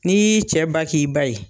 N'i y'i cɛ ba k'i ba ye